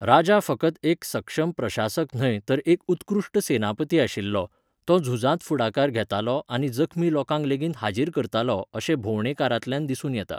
राजा फकत एक सक्षम प्रशासक न्हय तर एक उत्कृश्ट सेनापती आशिल्लो, तो झुजांत फुडाकार घेतालो आनी जखमी लोकांक लेगीत हाजीर करतालो अशें भोंवडेकारांतल्यान दिसून येता.